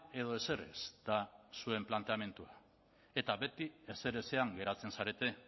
edo ezer ez da zuen planteamendua eta beti ezerezean geratzen zarete